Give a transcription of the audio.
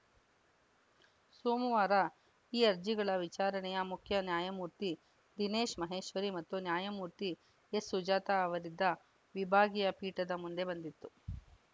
ಸೋಮವಾರ ಈ ಅರ್ಜಿಗಳ ವಿಚಾರಣೆಯ ಮುಖ್ಯ ನ್ಯಾಯಮೂರ್ತಿ ದಿನೇಶ್‌ ಮಹೇಶ್ವರಿ ಮತ್ತು ನ್ಯಾಯಮೂರ್ತಿ ಎಸ್‌ಸುಜಾತ ಅವರಿದ್ದ ವಿಭಾಗೀಯ ಪೀಠದ ಮುಂದೆ ಬಂದಿತ್ತು